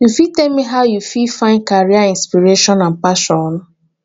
you fit tell me how you fit find career inspiration and passion